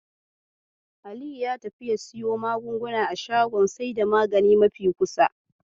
Aliyu ya tafi ya siyo magunguna a shagon saida magani mafi kusa.